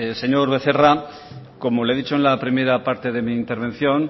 señor becerra como le he dicho en la primera parte de mi intervención